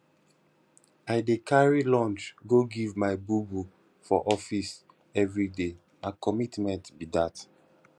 i dey carry lunch go give my bobo for office everyday na commitment be dat